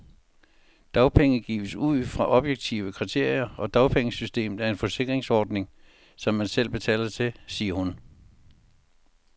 Dagpenge gives ud fra objektive kriterier, og dagpengesystemet er en forsikringsordning, som man selv betaler til, siger hun.